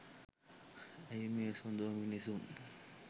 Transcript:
ඇයි මේ සොඳුරු මිනිසුන්